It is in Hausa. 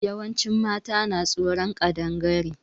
Yawancin mata na tsoron Ƙadangare.